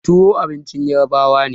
Tuwon abincin ƴarbawa ne.